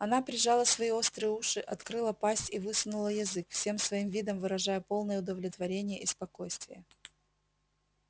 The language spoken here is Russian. она прижала свои острые уши открыла пасть и высунула язык всем своим видом выражая полное удовлетворение и спокойствие